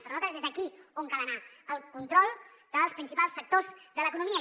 per nosaltres és aquí on cal anar al control dels principals sectors de l’economia